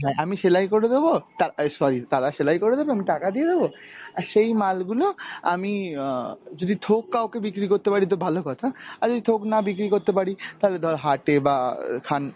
আমি সেলাই করে দেব তা~ এই sorry তারা সেলাই করে দেবে আমি টাকা দিয়ে দেব, আর সেই মালগুলো আমি অ যদি থোক কাউকে বিক্রি করতে পারি তো ভালো কথা আর যদি থোক না বিক্রি করতে পারি তাহলে ধর হাটে বা খান